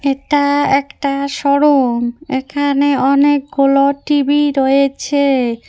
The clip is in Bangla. এটা একটা শোরুম এখানে অনেকগুলো টি_ভি রয়েছে।